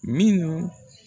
Minnu